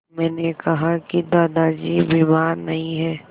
मैंने कहा कि दादाजी बीमार नहीं हैं